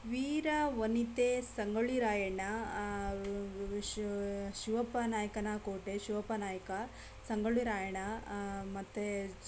ವೀರವನಿತೆ ಸಂಗೊಳ್ಳಿ ರಾಯಣ್ಣ ಆ ಶಿವಪ್ಪ ನಾಯಕನ ಕೋಟೆ ಶಿವಪ್ಪ ನಾಯಕ ಸಂಗೊಳ್ಳಿ ರಾಯಣ್ಣ ಆ ಮತ್ತೆ --